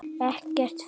Ekkert fyndið!